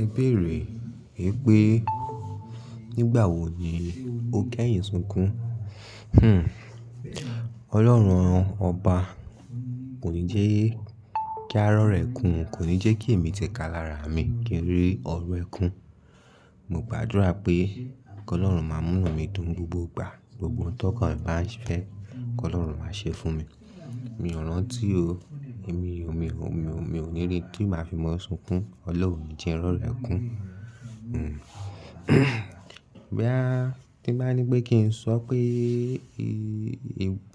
Ẹ bèrè pé nígbà wo ni o kẹ́yìn sunkún? Hmmm. Ọlọ́run ọba kò ní jẹ́ kí ari ọrọ̀ ekún, kò ní jẹ́ kí èmi tẹ̀ka lára mi kí n rí ọrọ̀ ẹ kún. Mo gbàdúrà pé Ọlọ́run máa múnu mi dùn gbogbo ìgbà, gbogbo n tó kàn bá ń fẹ́, k'Ọlọ́run máa ṣe fún mi. Mi ò rán tí o, èmi o, mi o, mi o, mi ò ní rí tí ì bá fi mọ́ sunkún. Ọlọ́run ni jẹ́ nri ọ̀rọ̀ ekún. Hmmm. Boya ti bá ní pé kí n sọ pé